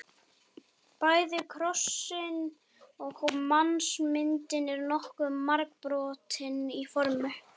Bæði krossinn og mannsmyndin eru nokkuð margbrotin í formi.